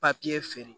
feere